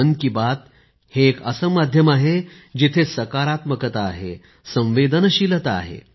मन की बात हे एक असे माध्यम आहे जिथे सकारात्मकता आहे संवेदनशीलता आहे